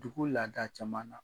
Dugu laada caman na.